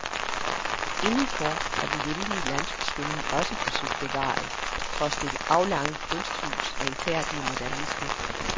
Indenfor er den hjemlige landsbystemning også forsøgt bevaret, trods det aflange kunsthus' renfærdige modernisme.